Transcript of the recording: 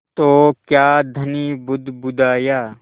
तो क्या धनी बुदबुदाया